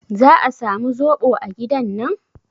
Za a samu zoɓo a gidan nan?